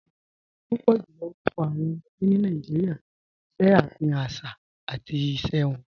Púpọ̀ jùlọ̀ orúkọ̀ awọn ọmọdé ni Nàìjíríà ṣẹ afihàn àṣà àti ìṣẹ̀ wọn